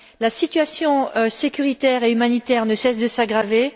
La situation sécuritaire et humanitaire ne cesse de s'aggraver.